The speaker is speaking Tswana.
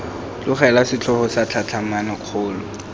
tlogelwa setlhogo sa tlhatlhamano kgolo